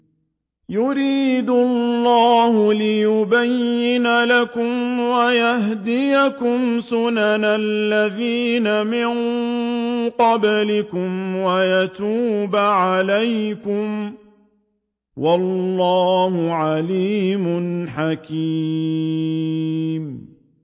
يُرِيدُ اللَّهُ لِيُبَيِّنَ لَكُمْ وَيَهْدِيَكُمْ سُنَنَ الَّذِينَ مِن قَبْلِكُمْ وَيَتُوبَ عَلَيْكُمْ ۗ وَاللَّهُ عَلِيمٌ حَكِيمٌ